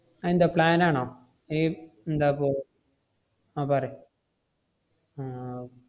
അതെന്താ plan ആണോ? ഏർ ~ന്താപ്പോ ആഹ് പറയ് ആഹ്